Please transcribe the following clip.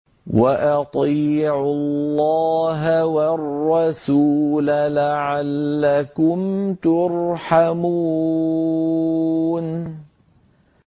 وَأَطِيعُوا اللَّهَ وَالرَّسُولَ لَعَلَّكُمْ تُرْحَمُونَ